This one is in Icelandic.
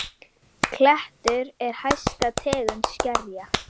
Klettur er hæsta tegund skerja.